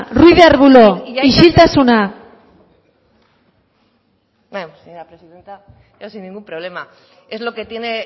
ruiz de arbulo isiltasuna señora presidenta yo sin ningún problema es lo que tiene